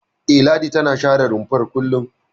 E, Ladi tana share rumfar kullum.